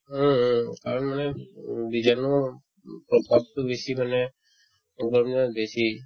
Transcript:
উম উম কাৰণ এই উম বীজাণুৰ প্ৰভাবতো বেছি মানে গৰম দিনত বেছি